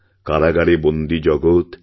কারাগারে বন্দী জগৎ